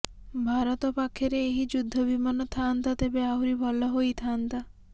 ଭାରତ ପାଖରେ ଏହି ଯୁଦ୍ଧ ବିମାନ ଥାନ୍ତା ତେବେ ଆହୁରି ଭଲ ହୋଇଥାନ୍ତା